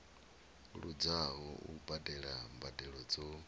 luzaho u badela mbadelo dzo